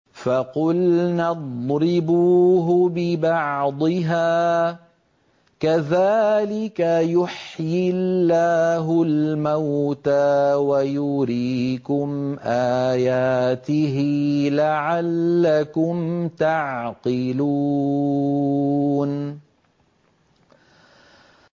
فَقُلْنَا اضْرِبُوهُ بِبَعْضِهَا ۚ كَذَٰلِكَ يُحْيِي اللَّهُ الْمَوْتَىٰ وَيُرِيكُمْ آيَاتِهِ لَعَلَّكُمْ تَعْقِلُونَ